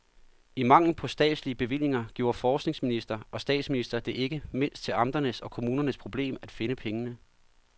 I mangel på statslige bevillinger gjorde forskningsminister og statsminister det ikke mindst til amternes og kommunernes problem at finde pengene.